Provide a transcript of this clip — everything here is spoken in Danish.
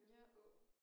Ude at gå